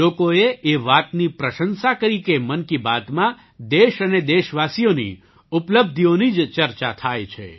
લોકોએ એ વાતની પ્રશંસા કરી કે મન કી બાતમાં દેશ અને દેશવાસીઓની ઉપલબ્ધિઓની જ ચર્ચા થાય છે